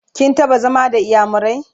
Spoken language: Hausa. kin taɓa zama da inyamurai?